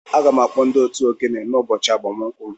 Aga m akpọ ndị otu ogene ụbọchị agbamakwụkwọ m